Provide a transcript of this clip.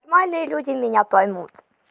мои люди меня поймут